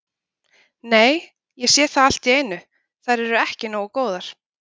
Nei, ég sé það allt í einu, þær eru ekki nógu góðar